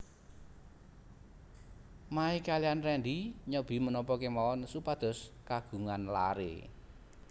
Mae kaliyan Rendy nyobi menapa kemawon supados kagungan laré